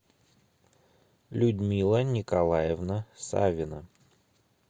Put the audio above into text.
людмила николаевна савина